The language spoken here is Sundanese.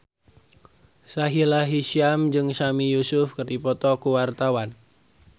Sahila Hisyam jeung Sami Yusuf keur dipoto ku wartawan